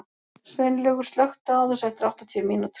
Sveinlaugur, slökktu á þessu eftir áttatíu mínútur.